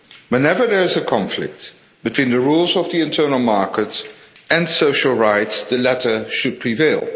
Whenever there is a conflict between the rules of the internal market and social rights, the latter should prevail.